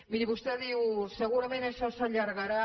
miri vostè diu segurament això s’allargarà